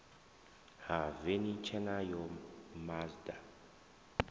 ha veni tshena ya mazda